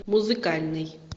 музыкальный